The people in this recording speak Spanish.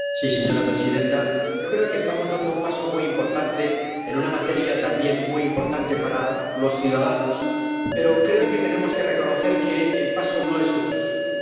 Señora presidenta, yo creo que estamos dando un paso muy importante en una materia también muy importante para los ciudadanos, pero creo que tenemos que reconocer que el paso no es suficiente.